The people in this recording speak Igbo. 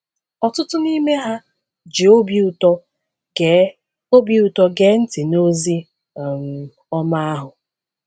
Ọtụtụ n’ime ha ji obi ụtọ gee obi ụtọ gee ntị n’ozi um ọma ahụ.